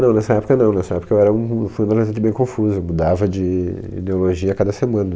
Não nessa época não, nessa época eu era um fui um adolescente bem confuso, eu mudava de ideologia a cada semana.